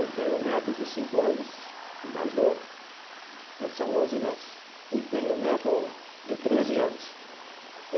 Eu tenho neto de cinco anos, o mais novo, são onze netos, e tenho neto de treze anos.